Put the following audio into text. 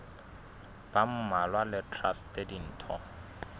ba mmalwa le traste ditho